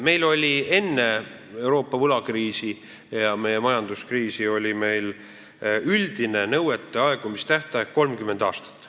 Meil oli enne Euroopa võlakriisi ja meie majanduskriisi üldine nõuete aegumise tähtaeg 30 aastat.